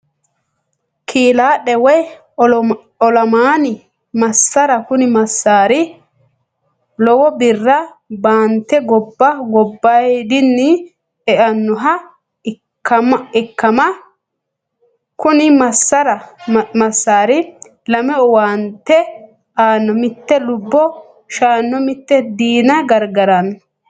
Kilaadhe woyi olamanni massaara, kuni masari lowo birra baanite goba gobayidinni e'anoha ikkama, kuni masari lame owaante aano, mite lubo shaano mite diina garigarano